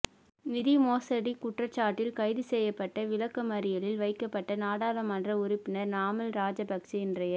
நிதி மோசடி குற்றச்சாட்டில் கைதுசெய்யப்பட்டு விளக்கமறியலில் வைக்கப்பட்ட நாடாளுமன்ற உறுப்பினர் நாமல் ராஜபக்ச இன்றைய